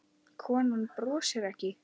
Konan brosir ekki.